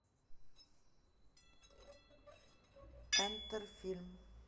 энтер фильм